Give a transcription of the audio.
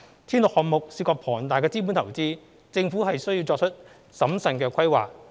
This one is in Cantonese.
鐵路項目涉及龐大的資本投資，政府需作出審慎的規劃。